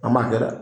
An b'a kɛ dɛ